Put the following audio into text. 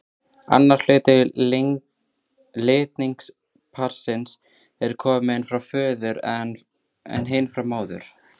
Annar hluti litningaparsins er kominn frá föður en hinn frá móður.